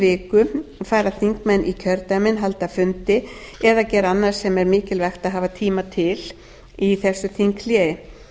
viku fara þingmenn í kjördæmin halda fundi eða gera annað sem er mikilvægt að hafa tíma til þess þinghléi